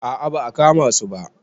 A a ba a kama su ba.